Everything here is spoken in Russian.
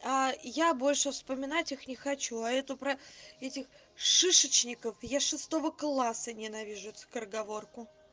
я больше вспоминать их не хочу а это про этих шишечников я с шестого класса ненавижу эту скороговорку